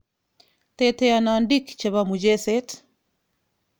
Teteonondik chepo mucheset 10:12:2016.